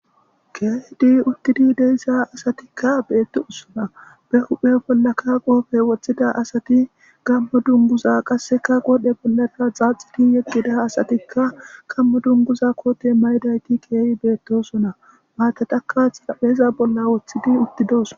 Keehidi uttidi dee7isa asatikka beetosona. Be huphe bollaka qoobe woththida asati gammo dumbuza qasseka godhe bollara xaaxidi yeqqida asatikka gammo dunbuza koote maydayti keehi beettosona. Maatataka xarapheeza bolla woththidi uttidooson.